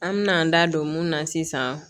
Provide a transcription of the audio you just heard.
An me n'an da don mun na sisan